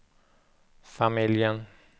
familjen